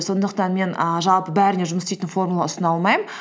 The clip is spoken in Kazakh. сондықтан мен ііі жалпы бәріне жұмыс істейтін формула ұсына алмаймын